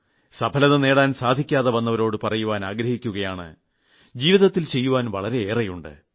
വിജയം നേടാൻ സാധിക്കാതെ വന്നവരോട് പറയുവാൻ ആഗ്രഹിക്കുകയാണ് ജീവിതത്തിൽ ചെയ്യുവാൻ വളരെയേറെയുണ്ട്